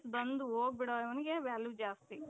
ಬಂದು ಹೋಗ್ಬಿದೋನಿಗೆ value ಜಾಸ್ತಿ